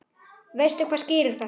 Veistu hvað skýrir þetta?